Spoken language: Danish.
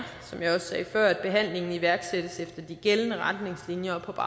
som jeg også sagde før at behandlingen iværksættes efter de gældende retningslinjer og på